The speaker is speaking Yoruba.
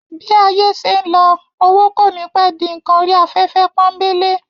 Bí ayé ń ṣé lọ, owó kò ní pẹ́ di ǹkan orí afẹ́fẹ́ pọ́ńbélé